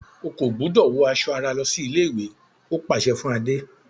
O kò gbúdọ̀ wọ aṣọ ara lọsí ilé-ìwé! ó pàsẹ fún Adé.